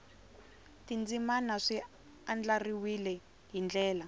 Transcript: tindzimana swi andlariwile hi ndlela